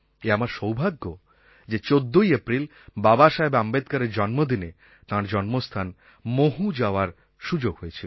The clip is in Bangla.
এ আমার সৌভাগ্য যে ১৪ই এপ্রিল বাবা সাহেব আম্বেদকরের জন্মদিনে তাঁর জন্মস্থান মহু যাওয়ার সুযোগ হয়েছিল